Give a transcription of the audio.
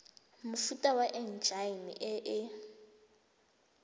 mofuta wa enjine e e